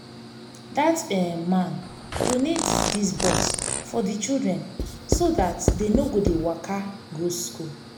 dat um man donate dis bus for the children so dat dey no go dey waka go school